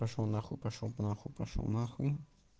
пошёл нахуй пошёл нахуй пошёл нахуй